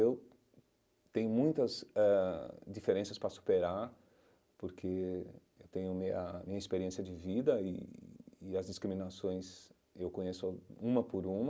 Eu tenho muitas eh diferenças para superar, porque eu tenho a minha minha experiência de vida e e as discriminações eu conheço uma por uma.